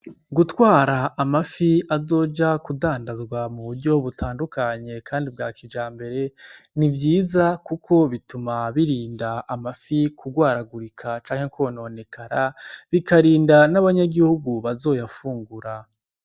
Gutwara amafi azoja kudandanzwa mu buryo butandukanye kandi bwakijambere n'ivyiza kuko bituma birinda amafi kugwaragurika canke kwononekara bikarinda n'abanyagihugu bazayafungura.